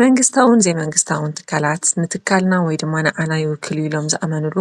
መንግስታውን ዘይመንግስታውን ትካላት ንትካልና ወይ ድማ ንዓና ይውክል እዩ ኢሎም ዝኣመንሉ